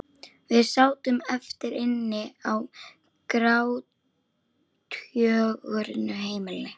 Við sátum eftir- inni á grátgjörnu heimili.